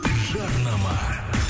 жарнама